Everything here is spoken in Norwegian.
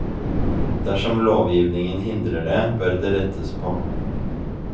Dersom lovgivningen hindrer det, bør det rettes på.